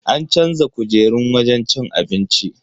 An canza kujerun wajen cin abincin.